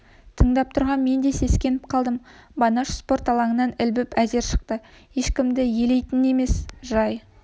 тыңдап тұрған мен де сескеніп қалдым байнаш спорт алаңынан ілбіп әзер шықты ешкімді елейтін емес жай